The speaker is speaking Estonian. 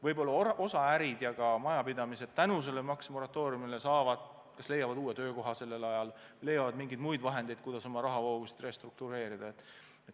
Võib-olla osa inimesi leiab tänu sellele maksemoratooriumile uue töökoha või ärid leiavad mingeid vahendeid, kuidas oma rahavoogusid restruktureerida.